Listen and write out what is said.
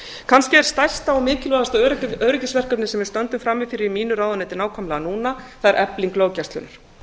kannski er stærsta og mikilvægasta öryggisverkefnið sem við stöndum frammi fyrir í mínu ráðuneyti nákvæmlega núna það er efling löggæslunnar